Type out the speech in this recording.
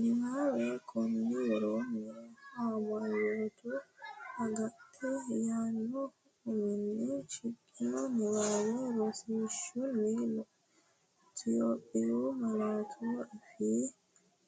Niwaawe Konni woroonni “Amanyoote agadha” yaanno uminni shiqqino niwaawe rosiisaanchi’ne Itophiyu malaatu afiinni